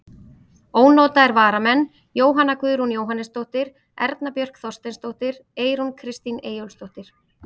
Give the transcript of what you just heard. Ónotaðir varamenn: Jóhanna Guðrún Jóhannesdóttir, Erna Björk Þorsteinsdóttir, Eyrún Kristín Eyjólfsdóttir.